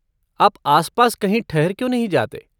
आप आसपास कहीं ठहर क्यों नहीं जाते?